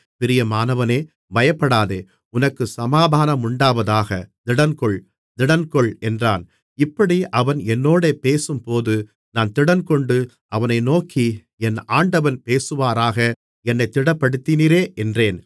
பிரியமானவனே பயப்படாதே உனக்குச் சமாதானமுண்டாவதாக திடன்கொள் திடன்கொள் என்றான் இப்படி அவன் என்னோடே பேசும்போது நான் திடன்கொண்டு அவனை நோக்கி என் ஆண்டவன் பேசுவாராக என்னைத் திடப்படுத்தினீரே என்றேன்